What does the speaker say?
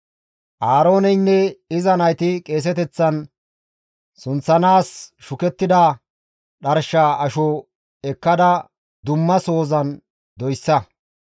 «Aarooneynne iza nayti qeeseteththan sunththanaas shukettida dharshaa asho ekkada dumma sohozan doyssa.